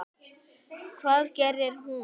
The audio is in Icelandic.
Hvað gerir hún?